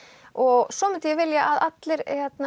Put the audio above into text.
og svo myndi ég vilja að allir